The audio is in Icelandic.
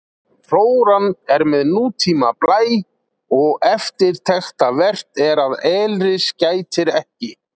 Flóran er með nútíma blæ og eftirtektarvert er að elris gætir ekki.